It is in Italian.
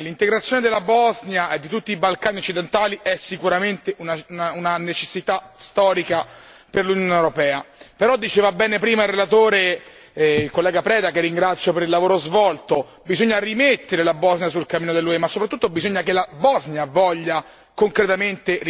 l'integrazione della Bosnia e di tutti i Balcani occidentali è sicuramente una necessità storica per l'Unione europea, però diceva bene prima il relatore, onorevole Preda, che ringrazio per il lavoro svolto, che bisogna rimettere la Bosnia sul cammino dell'UE, ma soprattutto bisogna che la Bosnia voglia concretamente rimettersi di sua spontanea volontà e con sincera volontà.